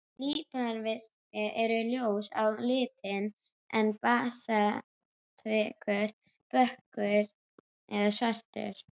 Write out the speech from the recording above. Líparítvikur er ljós á litinn en basaltvikur dökkur eða svartur.